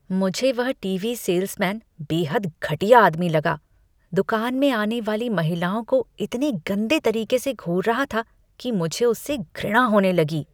मुझे वह TV salesman बेहद घटिया आदमी लगा, दुकान में आने वाली महिलाओं को इतने गंदे तरीके से घूर रहा था कि मुझे उससे घृणा होने लगी।